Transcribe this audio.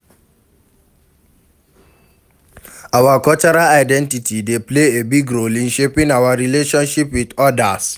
our cultural identity dey play a big role in shaping our relationships with odas.